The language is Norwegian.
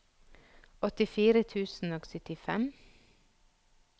åttifire tusen og syttifem